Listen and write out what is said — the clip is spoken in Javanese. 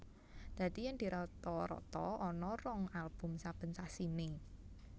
Dadi yen dirata rata ana rong album saben sasiné